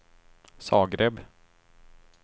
Zagreb